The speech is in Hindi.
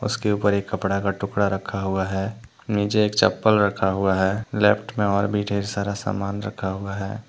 उसके ऊपर एक कपड़ा का टुकड़ा रखा हुआ है नीचे में एक चप्पल रखा हुआ है लेफ्ट में और भी ढेर सारा समान रखा हुआ है।